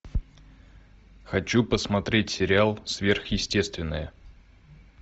хочу посмотреть сериал сверхъестественное